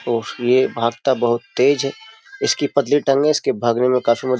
और ये भागता बहुत तेज है इसकी पतली टंगे इसके भागने में काफी मदद --